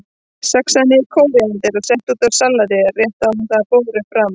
Saxaðu niður kóríander og settu út í salatið rétt áður en það er borið fram.